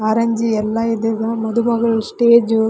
orange ಎಲ್ಲ ಇದೆ ಮಧು ಮಗಳ ಸ್ಟೇಜ್ ವು --